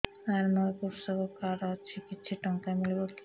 ସାର ମୋର୍ କୃଷକ କାର୍ଡ ଅଛି କିଛି ଟଙ୍କା ମିଳିବ କି